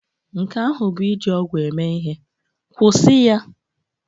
Nke ahụ bụ iji ọgwụ eme ihe. Kwụsị ya!